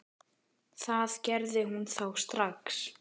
Það gerði hún þá strax.